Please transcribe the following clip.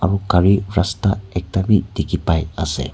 ro cari rasta ekta b diki pai ase.